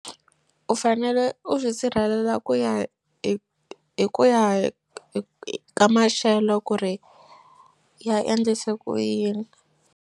U fanele u swi sirhelela ku ya hi hi ku ya ka maxelo ku ri ya endlise ku yini.